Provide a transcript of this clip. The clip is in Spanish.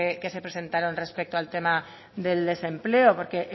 que se presentaron respecto al tema del desempleo porque